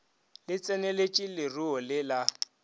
le tseneletše leruo le la